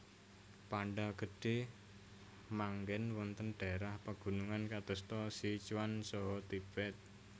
Panda Gedhe manggen wonten dhaérah pegunungan kadosta Sichuan saha Tibet